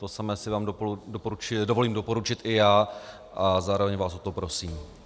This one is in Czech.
To samé si vám dovolím doporučit i já a zároveň vás o to prosím.